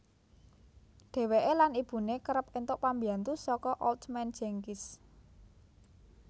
Dheweke lan ibune kereb entuk pambyantu saka Old Man Jenkins